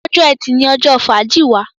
Ọjọ́ Ẹti ní ojó fàájì wá